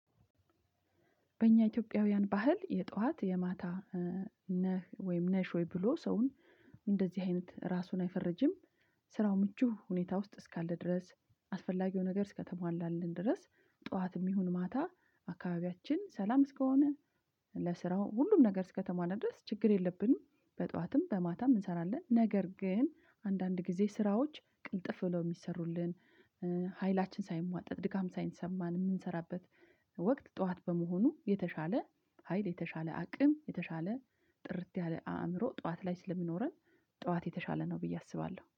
በእኛ ኢትዮጵያውያን ባህል የጧት የማታ ነህ ወይም ነሽ ወይ? ብሎ ሰውን እንደዚህ አይነት ራሱን አይፈረጅም። ስራው ምቹ ሁኔታ ውስጥ እስካለ ድረስ። አስፈላጊው ነገር እስከተሟላልን ድረስ ጠዋትም ይሁን ማታ አካባቢያችን ሰላም እስከሆነ። ለስራው ሁሉም ነገር እስከተሟላ ድረስ ችግር የለብንም። በጧትም በማታም እንሰራለን ነገር ግን አንዳንድ ጊዜ ስራዎች ቅልጥፍ ብለው የሚሰሩልን። ኃይላችን ሳይሟጠጥ ድካም ሳይሰማን የምንሰራበት። ወቅት ጠዋት በመሆኑ የተሻለ ሀይል የተሻለ አቅም የተሻለ ጥርት ያለ አእምሮ ጠዋት ላይ ስለሚኖረን። ጠዋት የተሻለ ነው ብዬ አስባለሁ